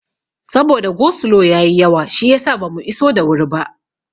Saboda go slo ya yi yawa shiyasa bamu iso da wuri ba.